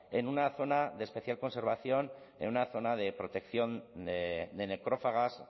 en una zona de especial conservación en una zona de protección de necrófagas